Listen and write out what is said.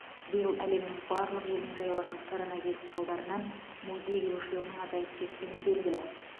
биыл әлемнің барлық елін жайлаған коронавирус салдарынан музей келушілерінің азайып кеткені белгілі